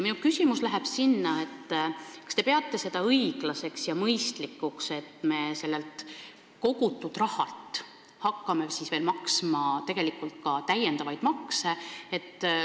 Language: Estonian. Minu küsimus on selle kohta, kas te peate õiglaseks ja mõistlikuks, et me hakkame sellelt kogutud rahalt maksma veel makse.